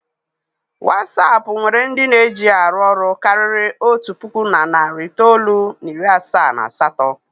Watsap nwere ndị na-eji ya arụ ọrụ karịrị otu puku na narị itoolu na iri asaa na asatọ.